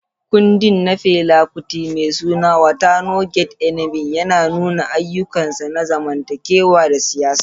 Kundin na Fela Kuti mai suna "Water No Get Enemy" ya nuna irin ayyukansa na zamantakewa da siyasa.